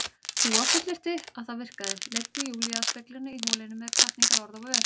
Dúa fullyrti að það virkaði, leiddi Júlíu að speglinum í holinu með hvatningarorð á vör.